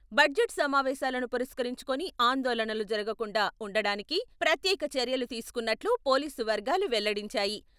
Budget సమావేశాలను పురస్కరించుకుని ఆందోళనలు జరగకుండా ఉండడానికి ప్రత్యేక చర్యలు తీసుకున్నట్లు పోలీసు వర్గాలు వెల్లడించాయి.